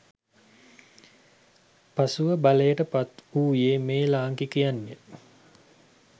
පසුව බලයට පත්වූයේ මේ ලාංකිකයන්ය